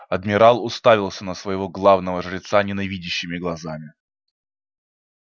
адмирал уставился на своего главного жреца ненавидящими глазами